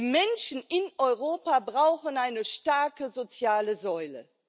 Die Menschen in Europa brauchen eine starke soziale Säule.